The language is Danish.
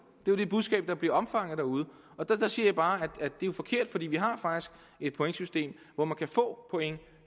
det er det budskab der bliver opfanget derude og der siger jeg bare at det er forkert for vi har faktisk et pointsystem hvor man kan få point